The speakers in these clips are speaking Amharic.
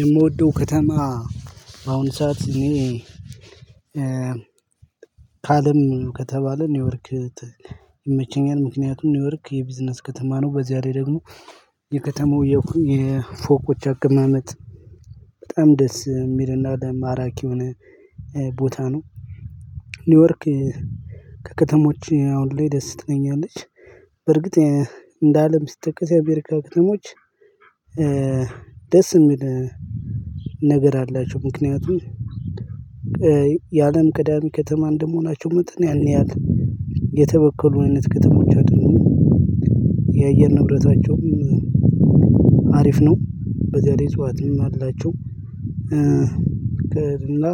የምወደው ከተማ በአሁን ሰዓት እኔ ካለም ከተባለ ኒውዮርክ ይመቸኛል ምክንያቱም ኒውዮርክ የቢዝነስ ከተማ ነው። በዚያ ላይ ደግሞ የከተማው የፎቆች አቅማመጥ በጣም ደስ የሚልና ለማራኪ የሆነ ቦታ ነው። ኒውዮርክ ከከተሞች አሁን ላይ ደስ ትተኛለች። በርግጥ እንደ አለም ስትጠቀም የአሜሪካ አክተሞች ደስ የሚል ነገር አላቸው ምክንያቱም የአለም ቀዳሚ ከተማ እንደመሆናቸው መጠን ያን ያህል የተበከሉ አይነት ከተሞች አደሉም። የአየር ንብረታቸውም አሪፍ ነው በዚያ ላይ እፅዋትም አላቸው። ቀድምና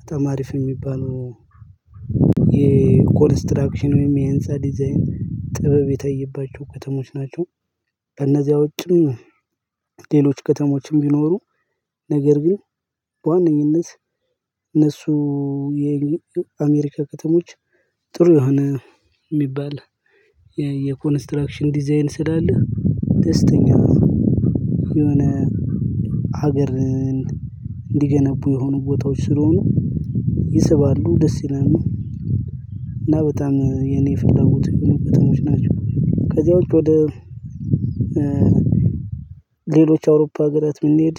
በጣም ሀሪፍ የሚባለው የኮንስትራክሽን ወይም የህንፃ ዲዛይን ጥበብ የታየባቸው ከተሞች ናቸው። ከእነዚያ ውጭም ሌሎች ከተሞችም ቢኖሩ ነገር ግን በዋነኝነት እነሱ የ አሜሪካ ከተሞች ጥሩ የሆነ የሚባል የኮንስትራክሽን ዲዛይን ስላለ ደስተኛ የሆነ ሀገርን እንዲገነቡ የሆኑ ቦታዎች ስለሆኑ ይስባሉ ደስ ይላሉ። እና በጣም የኔ ፍላጎት የሆኑ ከተሞች ናቸው። ከዚያውች ወደ ሌሎች አውሮፓ አገራት ብንሄድ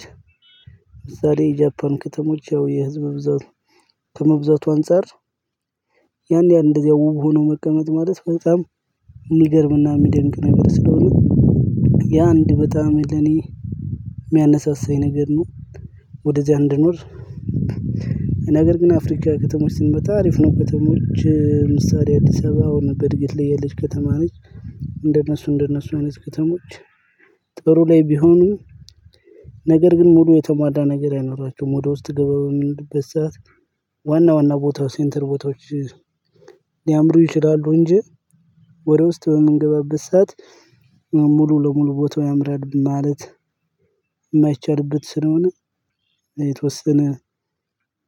ለምሳሌ የጃፓን ከተሞች የህዝብ ብዛት ከመብዛቱ አንፃር ያን ያን እንደዚያ ውብ ሆኖ መቀመጥ ማለት በጣም የሚገርምና የሚደንቅ ነገር ስለሆነ ያ አንድ በጣም ለኔ የሚያነሳሳኝ ነገር ነው። ወደዚያ እንድኖር ነገር ግን አፍሪካ ከተሞች ስንመጣ ሀሪፍ ነው ከተሞች ምሳሌ አዲስ አበባ አሁን በእድገት ላይ የልጅ ከተማ ነች። እንደነሱ እንደነሱ አይነት ከተሞች ጥሩ ላይ ቢሆኑ ነገር ግን ሙሉ የተሟላ ነገር አይኖራቸውም። ወደ ውስጥ ገበቡን በዛ ዋና ዋና ቦታው ሴንተር ቦታዎች ሊያምሩ ይችላሉ እንጂ ወደ ውስጥ በምንገባበት ሰዓት ሙሉ ለሙሉ ቦታው ያምራል ማለት የማይቻልበት ስለሆነ የተወሰነ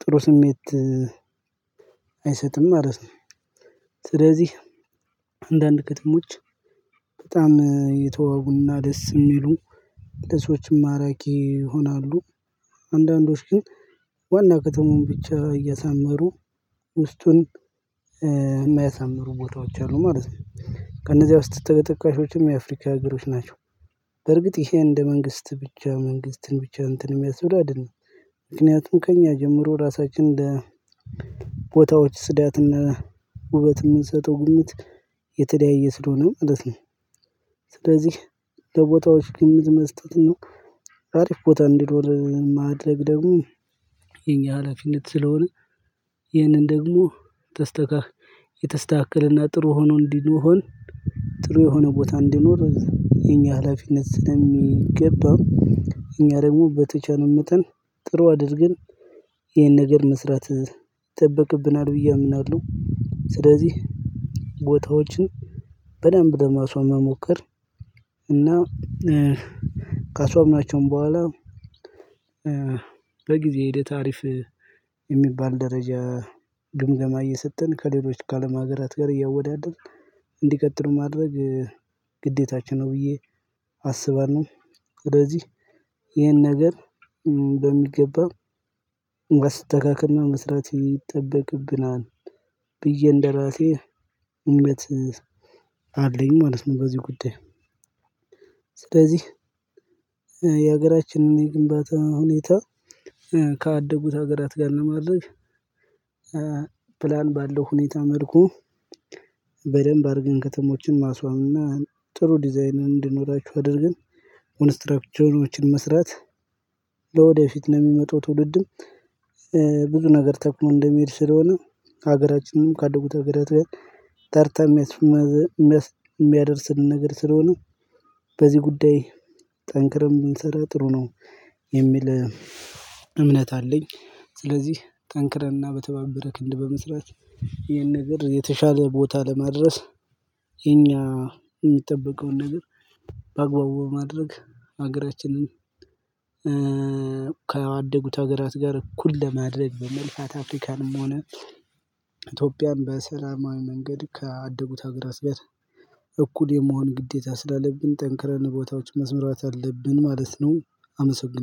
ጥሩ ስሜት አይሰጥም ማለት ነው። ስለዚህ አንዳንድ ከተሞች በጣም የተወቡና ደስ የሚሉ ደስተኞችም ማራኪ ይሆናሉ። አንዳንዶች ግን ዋና ከተማውን ብቻ እያሳመሩ ውስጡን የምያሳምሩ ቦታዎች አሉ ማለት ነው። ከነዚያ ውስጥ ተጠካሾችም የአፍሪካ ሀገሮች ናቸው። በርግጥ ይሄ እንደ መንግስት ብቻ መንግስትን ብቻ እንትን የሚያስብል አይደለም ምክንያቱም ከእኛ ጀምሮ ራሳችን እንደ ቦታዎች ፅዳትና ውበት የምንሰጠው ግምት የተለያየ ስለሆነ ማለት ነው። ስለዚህ ለቦታዎች ግምት መስጠት ነው። ሀሪፍ ቦታ እንዲኖር ማድረግ ደግሞ የኛ ሀላፊነት ስለሆነ ይህንን ደግሞ የተስተካከለና ጥሩ ሆኖ እንዲኖር ጥሩ የሆነ ቦታ እንዲኖር የኛ ሀላፊነት ስለሚገባው እኛ ደግሞ በተቻለን መጠን ጥሩ አድርገን ይሄን ነገር መስራት ይጠበቅብናል ብዬ አምናለሁ። ስለዚህ ቦታዎችን በደንብ ደማሷን መሞከር እና ከሷም ናቸው በኋላ በጊዜ ሂደተ ሀሪፍ የሚባል ደረጃ ግምገማ እየሰጠን ከሌሎች ከአለም ሀገራት ጋር እያወዳደርን እንዲቀጥል ማድረግ ግዴታችን ነው። ብዬ አስባለሁ ወደዚህ ይሄን ነገር በሚገባው ማስተካክልና መስራት ይጠበቅብናል ብዬ እንደራሴ እምነት አለኝ ማለት ነው። በዚህ ጉዳይ ስለዚህ የሀገራችንን የግንባታ ሁኔታ ካደጉት ሀገራት ጋር ለማድረግ ፕላን ባለው ሁኔታ መልኩ በደንብ አድርገን ከተሞችን ማስዋብ እና ጥሩ ዲዛይን እንዲኖራቸው አድርገን ኮንስትራክቸሮችን መስራት ለወደፊት ለሚመጡ ትውልድም ብዙ ነገር ተክሎ እንደሚሄድ ስለሆነ ሀገራችንንም ካደጉት ሀገራት ጋር ተርተህ የሚያደርስልን ነገር ስለሆነ በዚህ ጉዳይ ጠንክረም ብንሰራ ጥሩ ነው። የሚል እምነት አለኝ። ስለዚህ ጠንክረንና በተባበረ ክንድ በመስራት ይሄን ነገር የተሻለ ቦታ ለማድረስ የኛ የሚጠበቀውን ነገር በአግባቡ በማድረግ ሀገራችንን ከአደጉት ሀገራት ጋር እኩል ለማድረግ በመልካት አፍሪካንም ሆነ ኢትዮጵያም በሰላማዊ መንገድ ካደጉት ሀገራት ጋር እኩል የመሆን ግዴታ ስላለብን ጠንክረን ቦታዎች መስመራት አለብን ማለት ነው። አመሰግናለሁ